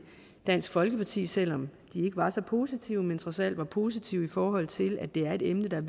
dansk folkeparti selv om de ikke var så positive men trods alt var positive i forhold til at det er et emne der